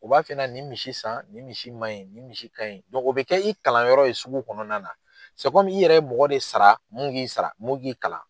U b'a f'i ɲɛna nin misi san, ni misi maɲi ni misi kaɲi o bɛ k'i kalanyɔrɔ ye sugu kɔnɔna la i yɛrɛ ye mɔgɔ de sara mun k'i sara mun k'i kalan.